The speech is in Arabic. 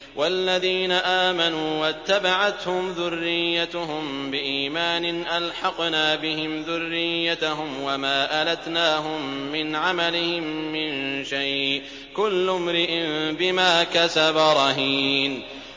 وَالَّذِينَ آمَنُوا وَاتَّبَعَتْهُمْ ذُرِّيَّتُهُم بِإِيمَانٍ أَلْحَقْنَا بِهِمْ ذُرِّيَّتَهُمْ وَمَا أَلَتْنَاهُم مِّنْ عَمَلِهِم مِّن شَيْءٍ ۚ كُلُّ امْرِئٍ بِمَا كَسَبَ رَهِينٌ